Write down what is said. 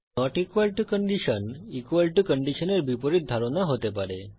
not equal to condition equal to কন্ডিশনের বিপরীত ধারণা হতে পারে